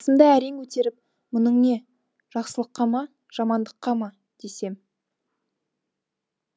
басымды әрең көтеріп мұның не жақсылыққа ма жамандыққа ма десем